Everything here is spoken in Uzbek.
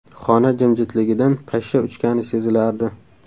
Xona jimjitligidan pashsha uchgani sezilardi.